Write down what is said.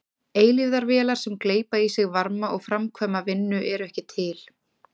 Eilífðarvélar sem gleypa í sig varma og framkvæma vinnu eru ekki til.